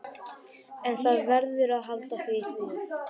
En það verður að halda því við.